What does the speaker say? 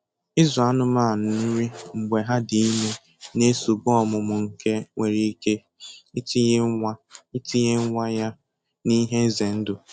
Ịzụ anụmanụ nri mgbe ha dị ime na-esogbu ọmụmụ nke nwere ike itinye nwa itinye nwa ya n'ihe iize ndụ